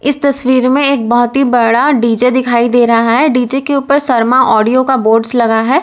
इस तस्वीर में एक बहुत ही बड़ा डी_जे दिखाई दे रहा है डी_जे के ऊपर शर्मा ऑडियो का बोर्डस लगा है।